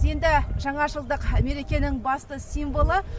енді жаңа жылдық мерекенің басты символы